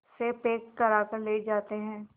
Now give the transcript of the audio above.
से पैक कराकर ले जाते हैं